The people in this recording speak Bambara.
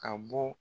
Ka bɔ